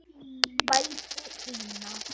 vældi Ína.